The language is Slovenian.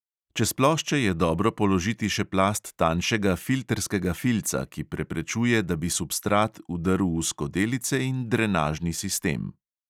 Čez plošče je dobro položiti še plast tanjšega filtrskega filca, ki preprečuje, da bi substrat vdrl v skodelice in drenažni sistem.